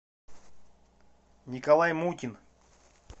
николай мутин